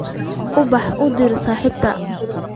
Ubax u dir saaxiibtay